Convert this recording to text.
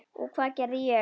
Og hvað gerði ég?